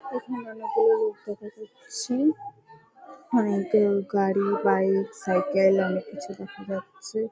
গাড়ি bike cycle অনেক কিছু দেখা যাচ্ছে ।